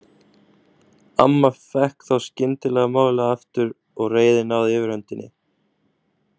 Amma fékk þá skyndilega málið aftur og reiðin náði yfirhöndinni.